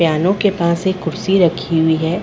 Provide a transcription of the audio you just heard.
Piano के पास एक कुर्सी रखी हुई है।